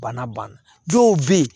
Bana ban na dɔw bɛ ye